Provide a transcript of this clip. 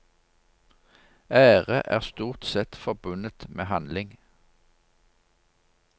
Ære er stort sett forbundet med handling.